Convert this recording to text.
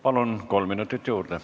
Palun, kolm minutit juurde!